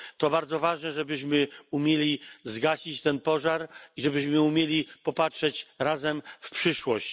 To bardzo ważne, żebyśmy umieli zgasić ten pożar i żebyśmy umieli popatrzeć razem w przyszłość.